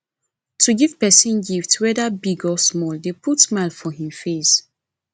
to give persin gift whether big or small de put smile for in face